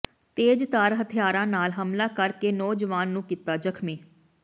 ਤੇਜ਼ਧਾਰ ਹਥਿਆਰਾਂ ਨਾਲ ਹਮਲਾ ਕਰ ਕੇ ਨੌਜਵਾਨ ਨੂੰ ਕੀਤਾ ਜ਼ਖ਼ਮੀ